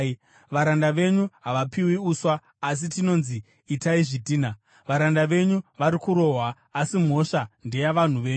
Varanda venyu havapiwi uswa, asi tinonzi, ‘Itai zvidhina!’ Varanda venyu vari kurohwa, asi mhosva ndeyavanhu venyu.”